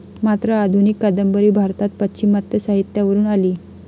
मात्र आधुनिक कादंबरी भारतात पाश्चिमात्य साहित्यावरून आली.